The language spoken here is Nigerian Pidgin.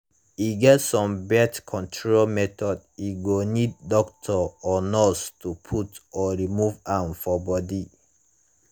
e get some birth control methods e go need doctor or nurse to put or remove am for body.